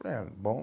Falei ah, bom.